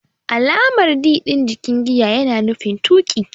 Alamar "D" din jikin giya yana nufin tuki.